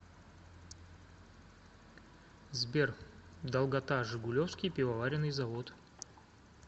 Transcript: сбер долгота жигулевский пивоваренный завод